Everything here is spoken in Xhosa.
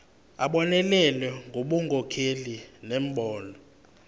abonelele ngobunkokheli nembono